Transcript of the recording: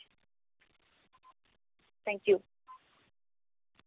Thank you